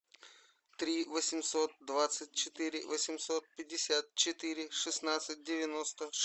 три восемьсот двадцать четыре восемьсот пятьдесят четыре шестнадцать девяносто